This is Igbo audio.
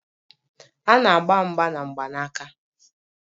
A na-agba mgba na mgbanaka